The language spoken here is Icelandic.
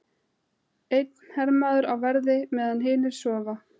Einn hermaður á verði meðan hinir sofa.